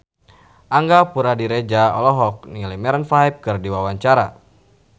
Angga Puradiredja olohok ningali Maroon 5 keur diwawancara